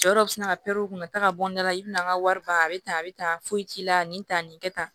Jɔyɔrɔ bɛ sina ka kuntagada i bɛna an ka wari ban a bɛ taa a bɛ ta foyi ci i la nin ta nin kɛ tan